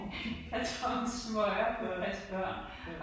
Jeg tror med smøger for at passe børn